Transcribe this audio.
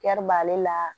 b'ale la